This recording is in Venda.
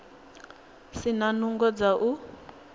si na nungo dza u